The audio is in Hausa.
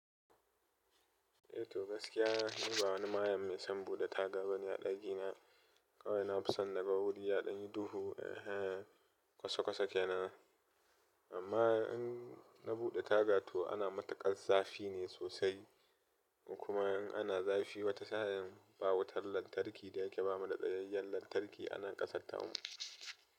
Eh to gaskiya, ni ba wani mayan mai son buɗe taga ba ne a ɗaki na, kawai na fi son naga wuri ya ɗanyi duhu ehen, kwasakwasa kenan. Amma in na buɗe taga to ana mataƙaz zafi ne sosai. Kuma in ana zafi wata sa'in ba wutar lantarki da yake bamu da tsayayyen lantarki ana ƙasatta mu.